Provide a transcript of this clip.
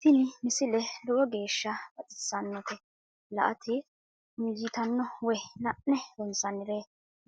tini misile lowo geeshsha baxissannote la"ate injiitanno woy la'ne ronsannire